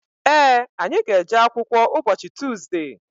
Ee, anyị ga-eje akwụkwọ ụbọchị Tuzde.